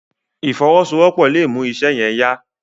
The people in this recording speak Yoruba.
ìfowosowopo lọ mú iṣé yen yá.